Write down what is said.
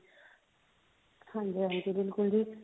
ਹਾਂਜੀ ਹਾਂਜੀ ਬਿਲਕੁਲ ਜੀ